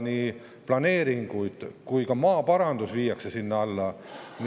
Nii planeeringud kui ka maaparandus viiakse sinna alla.